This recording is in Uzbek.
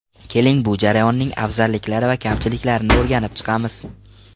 Keling, bu jarayonning afzalliklari va kamchiliklarini o‘rganib chiqamiz.